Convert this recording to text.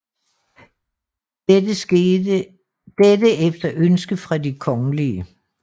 Dette efter ønske fra de kongelige